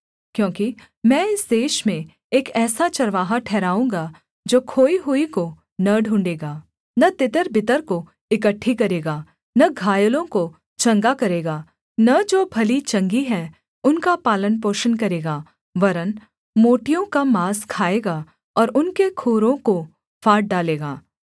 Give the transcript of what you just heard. क्योंकि मैं इस देश में एक ऐसा चरवाहा ठहराऊँगा जो खोई हुई को न ढूँढ़ेगा न तितरबितर को इकट्ठी करेगा न घायलों को चंगा करेगा न जो भली चंगी हैं उनका पालनपोषण करेगा वरन् मोटियों का माँस खाएगा और उनके खुरों को फाड़ डालेगा